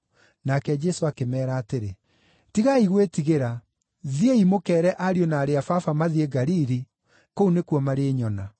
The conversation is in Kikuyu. Nake Jesũ akĩmeera atĩrĩ, “Tigai gwĩtigĩra. Thiĩ mũkeere ariũ na aarĩ a Baba mathiĩ Galili; kũu nĩkuo marĩnyona.”